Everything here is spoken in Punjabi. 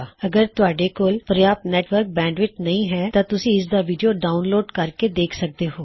ਅਗਰ ਤੁਹਾਡੇ ਕੋਲ ਪਰਯਾਪ੍ਤ ਨੇਟਵਰ੍ਕ ਬੈਂਡਵਿੱਥ ਨਹੀ ਹੈ ਤਾਂ ਤੁਸੀ ਇਸਦਾ ਵੀਡਿਓ ਡਾਉਨਲੋਡ ਕਰ ਕੇ ਦੇਖ ਸਕਦੇ ਹੋ